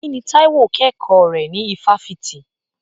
Kí ni Táíwò kẹ́kọ̀ọ́ rẹ̀ ní ifáfitì?